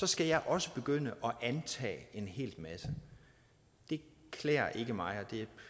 skal jeg også begynde at antage en hel masse det klæder ikke mig